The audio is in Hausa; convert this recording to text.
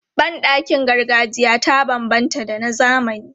Ban ɗakin gargajiya ta banbanta da na zamani.